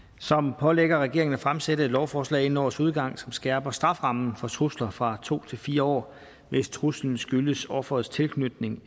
som pålægger regeringen at fremsætte et lovforslag inden årets udgang som skærper strafferammen for trusler fra to til fire år hvis truslen skyldes offerets tilknytning